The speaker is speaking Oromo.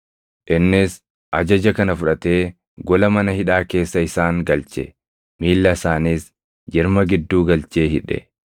Innis ajaja kana fudhatee gola mana hidhaa keessa isaan galche; miilla isaaniis jirma gidduu galchee hidhe.